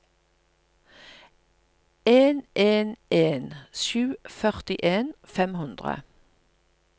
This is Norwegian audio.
en en en sju førtien fem hundre